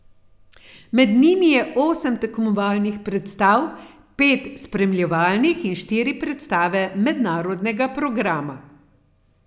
Med njimi je osem tekmovalnih predstav, pet spremljevalnih in štiri predstave mednarodnega programa.